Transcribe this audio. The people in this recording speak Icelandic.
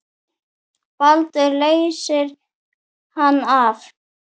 Baldur leysir hann af.